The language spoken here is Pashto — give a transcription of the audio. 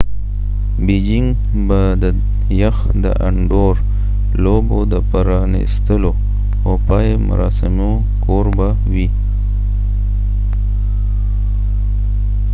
بیجنګ به د يخ د انډور لوبو د پرانیستلو او پای مراسمو کوربه وي